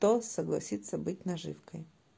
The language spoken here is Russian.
то согласится быть наживкой